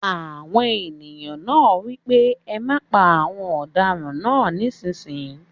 Àwọn èèyàn náà wí pé ẹ má pa àwọn ọ̀daràn náà nísìínyi!